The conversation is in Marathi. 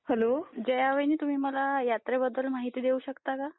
हॅलो जया वाहिनी तुम्ही मला यात्रेबद्दल माहिती देऊ शकता का?